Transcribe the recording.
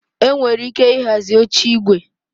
Enwere ike ịhazi oche igwe